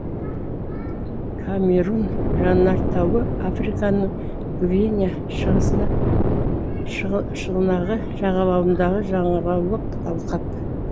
камерун жанартауы африканың гвиня шығанағы жағалауындағы жанғаулық алқап